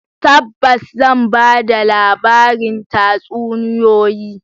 Tabbas zan ba da labarin tatsuniyoyi.